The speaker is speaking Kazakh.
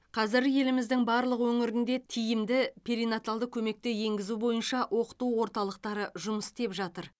қазір еліміздің барлық өңірінде тиімді перинаталды көмекті енгізу бойынша оқыту орталықтары жұмыс істеп жатыр